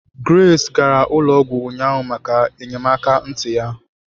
Grace gara ụlọ ọgwụ ụnyaahụ maka enyemaka ntị ya